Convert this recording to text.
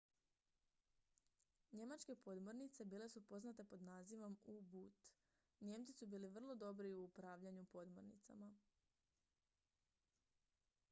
njemačke podmornice bile su poznate pod nazivom u-boot nijemci su bili vrlo dobri u upravljanju podmornicama